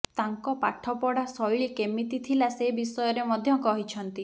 ତାଙ୍କ ପାଠପଢା ଶୈଳୀ କେମିତି ଥିଲା ସେ ବିଷୟରେ ମଧ୍ୟ କହିଛନ୍ତି